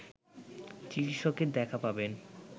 চিকিৎসকের দেখা পাবেন